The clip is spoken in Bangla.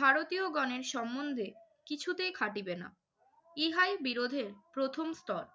ভারতীয়গণের সম্বন্ধে কিছুতেই খাটিবে না। ইহাই বিরোধের প্রথম স্তর।